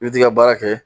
I bɛ t'i ka baara kɛ